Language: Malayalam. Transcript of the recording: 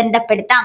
ബന്ധപെടുത്താം.